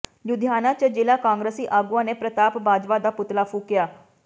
ਲੁਧਿਆਣਾ ਚ ਜ਼ਿਲ੍ਹਾ ਕਾਂਗਰਸੀ ਆਗੂਆਂ ਨੇ ਪ੍ਰਤਾਪ ਬਾਜਵਾ ਦਾ ਪੁਤਲਾ ਫੂਕਿਆ